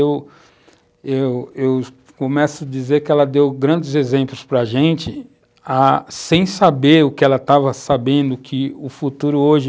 Eu eu eu começo a dizer que ela deu grandes exemplos para a gente ah, sem saber o que ela estava sabendo, que o futuro hoje...